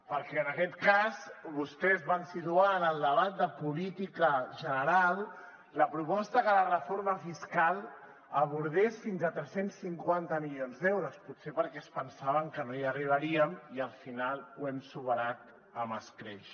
perquè en aquest cas vostès van situar en el debat de política general la proposta que la reforma fiscal abordés fins a tres cents i cinquanta milions d’euros potser perquè es pensaven que no hi arribaríem i al final ho hem superat amb escreix